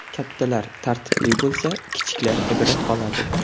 Kattalar tartibli bo‘lsa, kichiklar ibrat oladi.